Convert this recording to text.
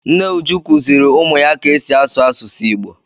Nne Uju kuziri ụmụ ụmụ ya ka esi asụ asusu Igbo.